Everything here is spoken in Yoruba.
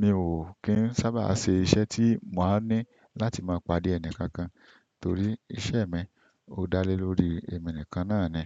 mi ò kí ń sábà ṣe iṣẹ́ tí màá ní láti máa pàdé ẹnì kankan, torí iṣẹ́ mi ò dá lé lórí èmi nìkan náà ni.